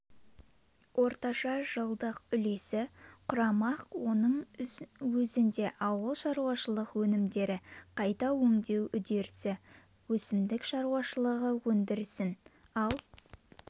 орташа жылдық үлесі құрамақ мұның өзінде ауылшаруашылық өнімдерді қайта өңдеу үдерісі өсімдік шаруашылығы өндірісін ал